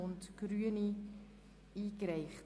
Abstimmung (6.d Behindertenbereich